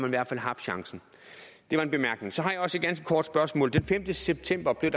i hvert fald haft chancen det var en bemærkning så har jeg også et ganske kort spørgsmål den femte september blev